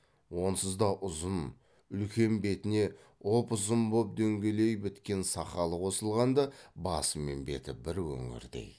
онсыз да ұзын үлкен бетіне ұп ұзын боп дөңгелей біткен сақалы қосылғанда басы мен беті бір өңірдей